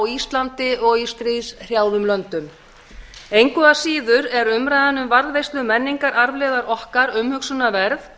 íslandi og í stríðshrjáðum löndum engu síður er umræðan um varðveislu menningararfleifðar okkar umhugsunarverð